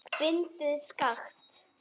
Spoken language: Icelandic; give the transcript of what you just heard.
Bindið skakkt.